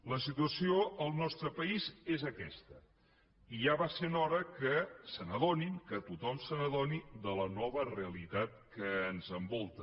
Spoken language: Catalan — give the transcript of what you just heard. la situació al nostre país és aquesta i ja va sent hora que se n’adonin que tothom se n’adoni de la nova realitat que ens envolta